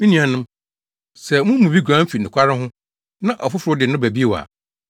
Me nuanom, sɛ mo mu bi guan fi nokware ho na ɔfoforo de no ba bio a,